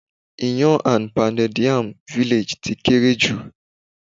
Iyán an Pounded Yam Village ti kéré jù.